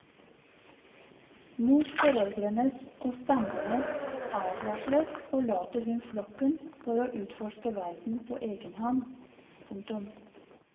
Mot foreldrenes og stammens advarsler forlater hun flokken for å utforske verden på egen hånd. punktum